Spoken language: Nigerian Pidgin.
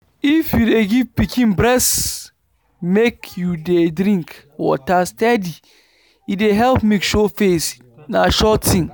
if you dey give pikin breast make u dey drink water steady. e dey help milk show face. na sure thing.